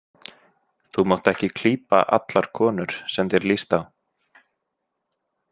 Þú mátt ekki klípa allar konur sem þér líst á.